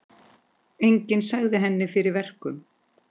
Enginn sagði henni fyrir verkum.